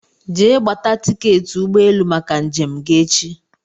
Jee gbata tiketi ụgbọ élú màkà njem gị echi!!!